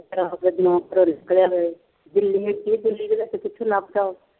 ਰਾਤ ਦੇ ਨਿਕਲਿਆ ਹੋਇਆ ਜੀ, ਕਿੱਥੇ ਲੱਭਦਾ ਉਹ